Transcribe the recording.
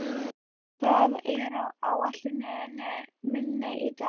Rögnvar, hvað er á áætluninni minni í dag?